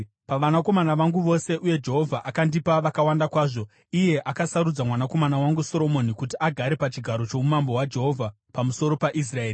Pavanakomana vangu vose, uye Jehovha akandipa vakawanda kwazvo, iye akasarudza mwanakomana wangu Soromoni kuti agare pachigaro choumambo hwaJehovha pamusoro paIsraeri.